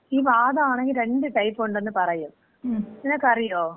ഈ വാതാണെങ്കി രണ്ട് ടൈപ്പ് ഉണ്ടന്ന് പറയും, നിനക്കറിയോ?